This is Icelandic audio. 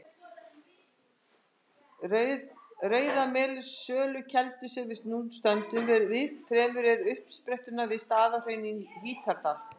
Rauðamelsölkeldu, sem við nú stöndum við, fremur en uppsprettuna við Staðarhraun í Hítardal.